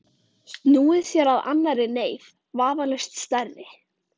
Snúið sér að annarri neyð, vafalaust stærri.